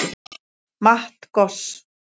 Matt Goss